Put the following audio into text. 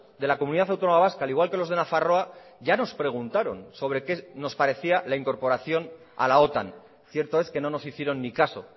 de la comunidad autónoma vasca al igual que los de nafarroa ya nos preguntaron sobre qué nos parecía la incorporación a la otan cierto es que no nos hicieron ni caso